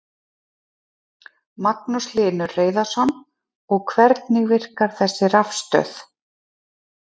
Magnús Hlynur Hreiðarsson: Og hvernig virkar þessi rafstöð?